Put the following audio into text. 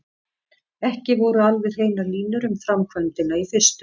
Ekki voru alveg hreinar línur um framkvæmdina í fyrstu.